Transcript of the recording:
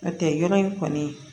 N'o tɛ yɔrɔ in kɔni